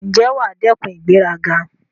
Ǹjẹ́ wà á dẹ́kun ìgbéraga?